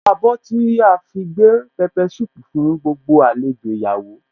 Kíni àwọ̀ abọ́ tí a fi gbé pepper soup fún gbogbo àlejò ìyàwó